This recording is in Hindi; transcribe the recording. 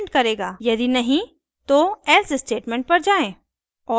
यदि नहीं तो else स्टेटमेंट पर जायें